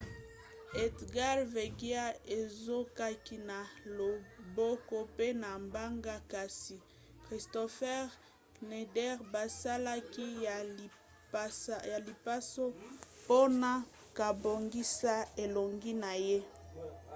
edgar veguilla azokaki na loboko pe na mbanga kasi kristoffer schneider basalaki ye lipaso mpona kobongisa elongi na ye